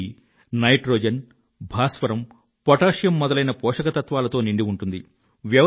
ఇది నైట్రోజన్ భాస్వరం పొటాషియం మొదలైన పోషక తత్వాలతో నిండి ఉంటుంది